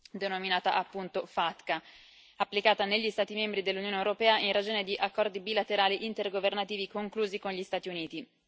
denominata appunto FATCA, applicata negli Stati membri dell'Unione europea in ragione di accordi bilaterali intergovernativi conclusi con gli Stati Uniti.